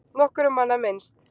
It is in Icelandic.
Nokkurra manna minnst